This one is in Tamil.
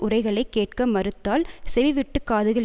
உரைகளைக் கேட்க மறுத்தால் செவிவிட்டுக் காதுகள்